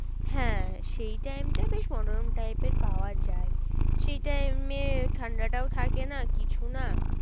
হ্যাঁ সেই time টা বেশ মনোরম type এর পাওয়া যায়। সেই time এ ঠান্ডাটাও থাকে না কিছু না।